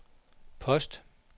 post